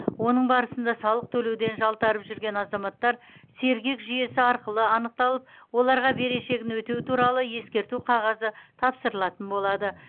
оның барысында салық төлеуден жалтарып жүрген азаматтар сергек жүйесі арқылы анықталып оларға берешегін өтеу туралы ескерту қағазы тапсырылатын болады